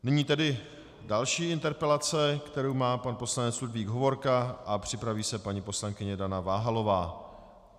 Nyní tedy další interpelace, kterou má pan poslanec Ludvík Hovorka, a připraví se paní poslankyně Dana Váhalová.